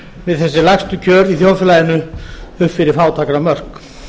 við þessi lægstu kjör í þjóðfélaginu upp fyrir fátæktarmörk